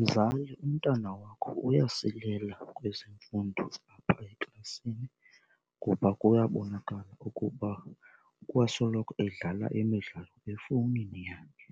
Mzali, umntana wakho uyasilela kwezemfundo zalapha eklasini kuba kuyabonakala ukuba kwasoloko edlala imidlalo efowunini yakhe.